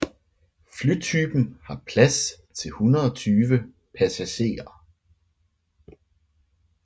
Flytypen har plads til 120 passagerer